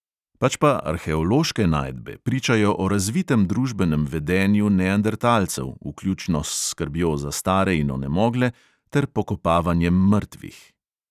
Pač pa arheološke najdbe pričajo o razvitem družbenem vedenju neandertalcev, vključno s skrbjo za stare in onemogle ter pokopavanjem mrtvih.